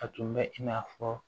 A tun bɛ i n'a fɔ